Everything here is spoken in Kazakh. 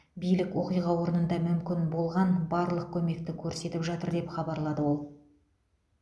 билік оқиға орнында мүмкін болған барлық көмекті көрсетіп жатыр деп хабарлады ол